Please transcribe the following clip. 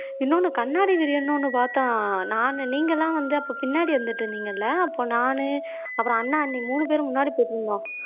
இன்னொன்னு கண்ணாடி விரியன்னு ஒண்ணு பார்த்தோம் நானு நீங்க எல்லாம் வந்து அப்ப பின்னாடி இருந்துட்டு இருந்தீங்க இல்ல அப்ப நானு அப்புறம் அண்ணன் அண்ணி மூணு பேரும் முன்னாடி போயிட்டுருந்தோம்